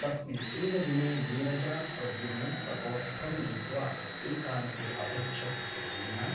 तस्मिन् एव दिने नीरजा प्रद्युम्नं प्रकोष्ठं नीत्वा एकान्ते अपृच्छत् प्रद्युम्न !